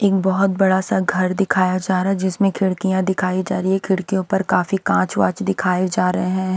एक बहुत बड़ा सा घर दिखाया जा रहा जिसमें खिड़कियां दिखाई जा रही है खिड़कियों पर काफी कांच वॉच दिखाए जा रहे हैं।